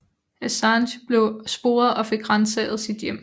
Assange blev sporet og fik ransaget sit hjem